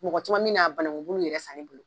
Mɔgɔ caman min n'a banagubulu yɛrɛ san ne bolo.